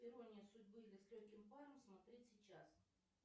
ирония судьбы или с легким паром смотреть сейчас